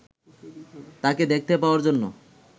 তাঁকে দেখতে পাওয়ার জন্য